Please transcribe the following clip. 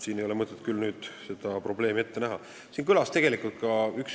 Ei ole mõtet seda probleemi vähendada.